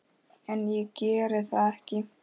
En ég gerði það ekki.